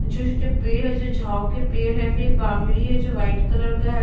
छोटे-छोटे पेड़ है जो झाओ के पेड़ है फिर एक बॉउंड्री है जो व्हीर्ट कलर का है।